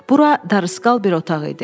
Bura darısqal bir otaq idi.